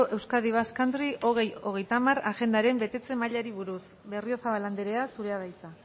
euskadi basque country bi mila hogeita hamar agendaren betetze mailari buruz berriozabal anderea zurea da hitza